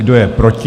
Kdo je proti?